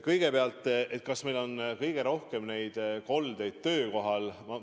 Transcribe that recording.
Kõigepealt, kas meil on kõige rohkem koldeid ikka töökohal?